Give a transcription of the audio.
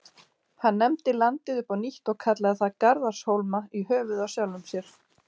Hann nefndi landið upp á nýtt og kallaði það Garðarshólma, í höfuðið á sjálfum sér.